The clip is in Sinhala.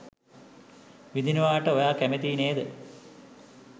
විඳිනවාට ඔයා කැමතියි නේද?